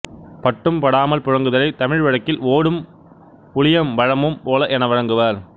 பட்டும் படாமல் புழங்குதலை தமிழ் வழக்கில் ஓடும் புளியம் பழமும் போல என வழங்குவர்